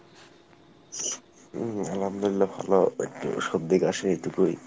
উম আলহামদুলিল্লাহ ভালো একটু সর্দি কাশি এইটুকুই।